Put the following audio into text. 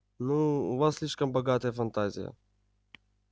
ну у вас слишком богатая фантазия